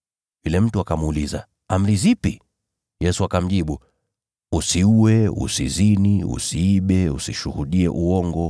Yule mtu akamuuliza, “Amri zipi?” Yesu akamjibu, “Usiue, usizini, usiibe, usishuhudie uongo,